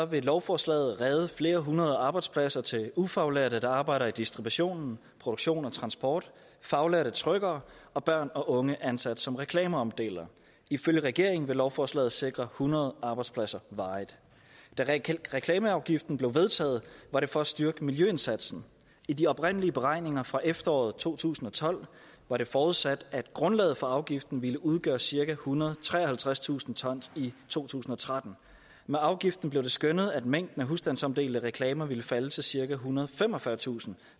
vil lovforslaget redde flere hundrede arbejdspladser til ufaglærte der arbejder i distribution produktion og transport faglærte trykkere og børn og unge ansat som reklameomdelere ifølge regeringen vil lovforslaget sikre hundrede arbejdspladser varigt da reklameafgiften blev vedtaget var det for at styrke miljøindsatsen i de oprindelige beregninger fra efteråret to tusind og tolv var det forudsat at grundlaget for afgiften ville udgøre cirka ethundrede og treoghalvtredstusind ton i to tusind og tretten med afgiften blev det skønnet at mængden af husstandsomdelte reklamer ville falde til cirka ethundrede og femogfyrretusind